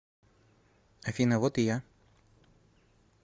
афина вот и я